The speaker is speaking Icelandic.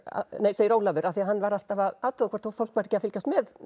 segir Ólafur því að hann var alltaf að athuga hvort fólki væri ekki að fylgjast með